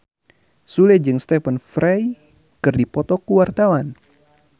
Sule jeung Stephen Fry keur dipoto ku wartawan